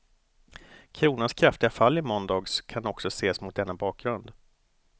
Kronans kraftiga fall i måndags kan också ses mot denna bakgrund.